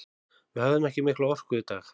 Við höfðum ekki mikla orku í dag.